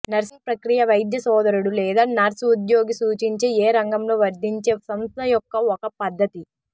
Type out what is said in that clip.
nursing ప్రక్రియ వైద్య సోదరుడు లేదా నర్స్ ఉద్యోగి సూచించే ఏ రంగంలో వర్తించే సంస్థ యొక్క ఒక పద్ధతి